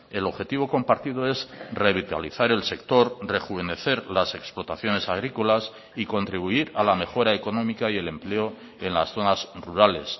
el objetivo compartido es revitalizar el sector rejuvenecer las explotaciones agrícolas y contribuir a la mejora económica y el empleo en las zonas rurales